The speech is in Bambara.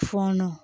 Fɔɔnɔ